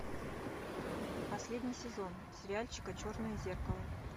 последний сезон сериальчика черное зеркало